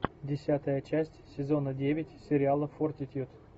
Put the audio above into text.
десятая часть сезона девять сериала фортитьюд